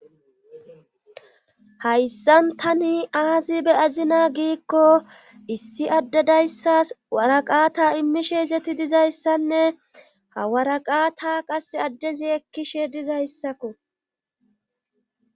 Hayssan tani aazi be azina giikko issi addedayssas waraqata immishe izeti dizayssanne hawaraqata qas addezi ekkishe dizayssakko.